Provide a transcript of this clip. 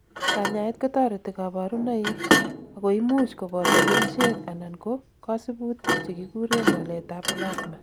kanyaet kotoreti kaborunoik, akoimuch koboto kerichek anan ko kosibutik chekikuren walet ab plasma